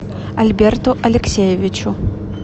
альберту алексеевичу